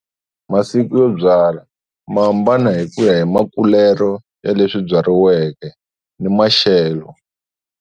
Masiku yo byala ma hambana hi ku ya hi makulelo ya leswi byariweke ni maxelo.